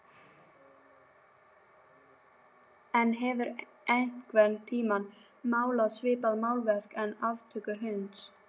En hefurðu einhvern tíma málað svipað málverk af aftöku hunds?